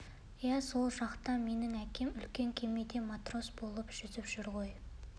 иә сол жақта менің әкем үлкен кемеде матрос болып жүзіп жүр ғой